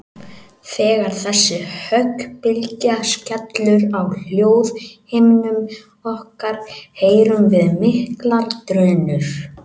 Þegar þessi höggbylgja skellur á hljóðhimnum okkar heyrum við miklar drunur.